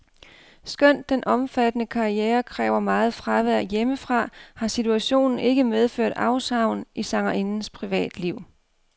Skønt den omfattende karriere kræver meget fravær hjemmefra, har situationen ikke medført afsavn i sangerindens privatliv.